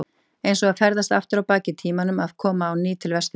Eins og að ferðast aftur á bak í tímanum að koma á ný til Vesturlanda.